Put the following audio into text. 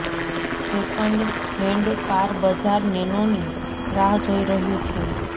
second hand car બજાર નેનોની રાહ જોઈ રહ્યુ છે